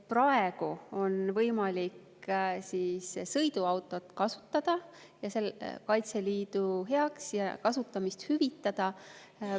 Praegu on võimalik kasutada Kaitseliidu heaks sõiduautot ja seda hüvitada.